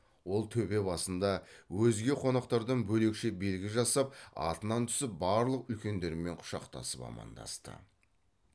ол төбе басында өзге қонақтардан бөлекше белгі жасап атынан түсіп барлық үлкендермен құшақтасып амандасты